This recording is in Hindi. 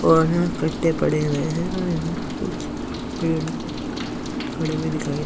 इक्कठे पड़े हुए है और यहाँ कुछ पेड़ खड़े हुए दिखाई दे रहे है।